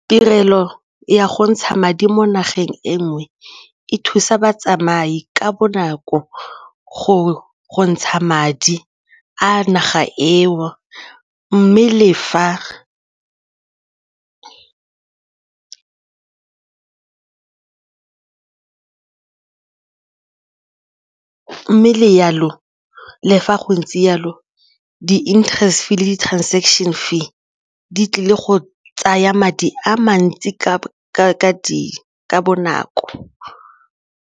Tirelo ya go ntsha madi mo nageng e nngwe e thusa batsamai ka bonako gore go ntsha madi a naga eo mme le fa go ntse jalo di-interest le di-transaction fee di tlile go tsaya madi a mantsi ka bonako.